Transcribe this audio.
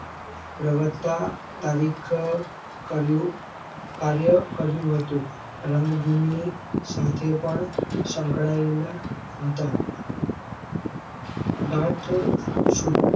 પ્રવર્તતા તારીખ કર્યું કાર્ય કર્યું હતું. રંગ ભૂમિ સાથે પણ સંકળાયેલા હતા. ગાંઠ